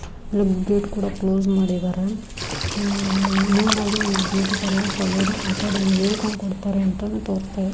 ಹೆಗ್ gate ಕೂಡ close ಮಾಡಿದ್ದಾರೆ main ಆಗಿ ನಮಗೆ ಬ್ಯೂಟಿ ಪಾರ್ಲರ್ ಸಲೂನ್ ಅಕಾಡೆಮಿ ಹೇಳಿಕೊಂಡು ಕೊಡ್ತಾರೆ ತೋಸ್ತ ಇದೆ.